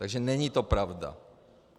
Takže není to pravda.